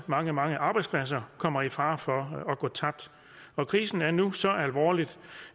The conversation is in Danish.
mange mange arbejdspladser kommer også i fare for at gå tabt krisen er nu så alvorlig